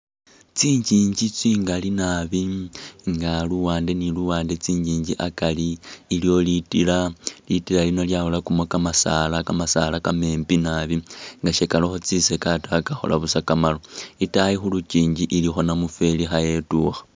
Tsinyinji tsingali nabi nga luwande ni luwande tsinyinji akari iliwo litila ,litila lino lyakholakamo kamasala kamasala kamembi nabi nga sikalikho tsisaga taa kakhola busa kamaru itayi khulukyinji ilikho namufeli khayetwikha.